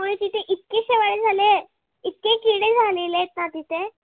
झालेले आहेत ना तिथे?